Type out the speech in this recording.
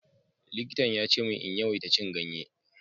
Likitan ya ce min in yawaita cin ganye.